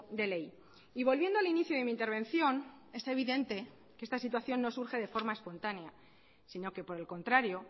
de ley y volviendo al inicio de mi intervención es evidente que esta situación no surge de forma espontánea sino que por el contrario